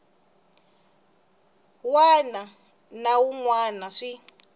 wana na wun wana swi